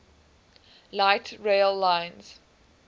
light rail lines